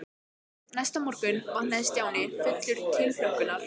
Næsta morgun vaknaði Stjáni fullur tilhlökkunar.